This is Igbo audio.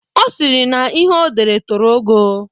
Ọ sịrị na ihe odere toro ogo.